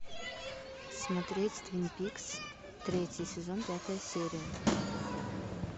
смотреть твин пикс третий сезон пятая серия